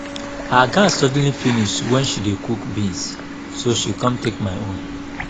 her gas suddenly finish wen she dey cook beans so she come take my own